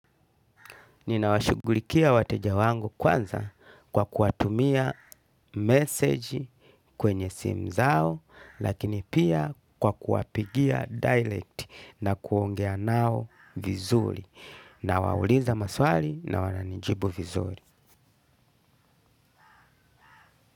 Ninawashughulikia wateja wangu kwanza kwa kuwatumia message kwenye simu zao lakini pia kwa kuwapigia direct na kuongea nao vizuri nawauliza maswali na wananijibu vizuri.